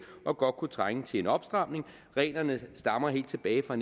og godt kunne trænge til en opstramning reglerne stammer helt tilbage fra